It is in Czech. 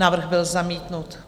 Návrh byl zamítnut.